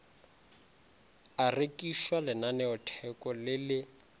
a rekišwa lenaneotheko le le